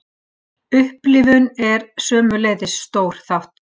Upplifunin er sömuleiðis stór þáttur.